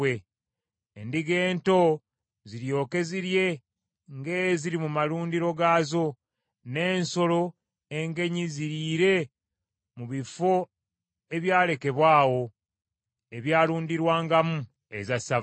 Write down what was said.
Endiga ento ziryoke zirye ng’eziri mu malundiro gaazo, n’ensolo engenyi ziriire mu bifo ebyalekebwa awo, ebyalundirwangamu eza ssava.